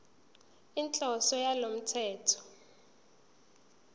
inhloso yalo mthetho